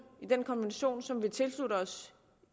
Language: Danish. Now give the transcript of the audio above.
i den konvention som vi tilsluttede os